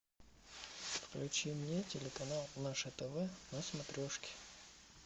включи мне телеканал наше тв на смотрешке